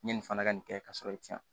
N ye nin fana ka nin kɛ ka sɔrɔ i tɛ yan